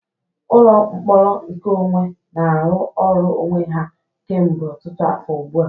Ụlọ mkpọrọ nkeonwe na-arụ ọrụ onwe ha kemgbe ọtụtụ afọ ugbu a.